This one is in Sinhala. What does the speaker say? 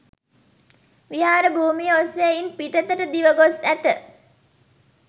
විහාර භූමිය ඔස්‌සේ ඉන් පිටතට දිව ගොස්‌ ඇත.